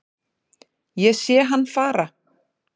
Ég sé hann fara